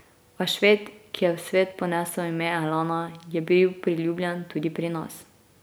A Šved, ki je v svet ponesel ime Elana, je bil priljubljen tudi pri nas.